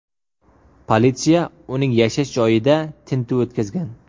Politsiya uning yashash joyida tintuv o‘tkazgan.